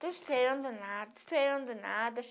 Estou esperando nada, esperando nada.